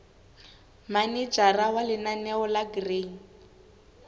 manejara wa lenaneo la grain